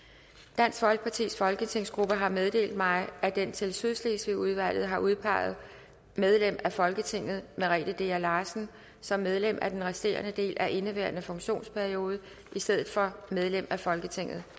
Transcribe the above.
dansk folkepartis folketingsgruppe har meddelt mig at den til sydslesvigudvalget har udpeget medlem af folketinget merete dea larsen som medlem af den resterende del af indeværende funktionsperiode i stedet for medlem af folketinget